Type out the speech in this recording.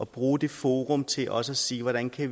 bruge det forum til også at se hvordan vi